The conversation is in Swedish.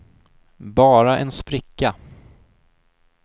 bara en spricka